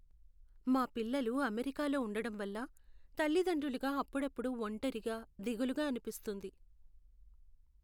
మా పిల్లలు అమెరికాలో ఉండడం వల్ల, తల్లిదండ్రులుగా అప్పుడప్పుడు ఒంటరిగా, దిగులుగా అనిపిస్తుంది.